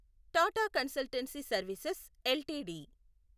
Tata Consultancy Services LTD